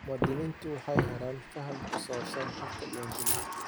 Muwaadiniintu waxay helayaan faham ku saabsan habka diiwaangelinta.